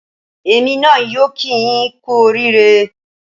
Èmi náà yóò kíi yín kú oríire